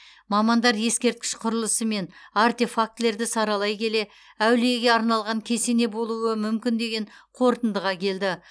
мамандар ескерткіш құрылысы мен артефактілерді саралай келе әулиеге арналған кесене болуы мүмкін деген қорытындыға келді